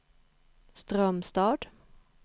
Strömstad